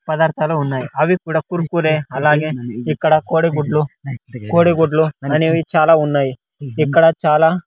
పదార్థాలు ఉన్నాయి అవి కూడా కుర్కురే అలాగే ఇక్కడ కోడి గుడ్లు కోడి గుడ్లు అనేవి చాలా ఉన్నాయి ఇక్కడ చాలా.